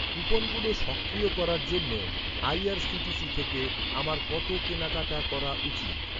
কুপনগুলো সক্রিয় করার জন্য আইআরসিটিসি থেকে আমার কত কেনাকাটা করা উচিত?